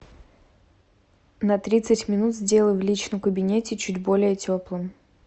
на тридцать минут сделай в личном кабинете чуть более теплым